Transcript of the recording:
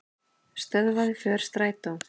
Stöðvaði för strætó